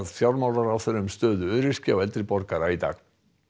fjármálaráðherra um stöðu öryrkja og eldri borgara í dag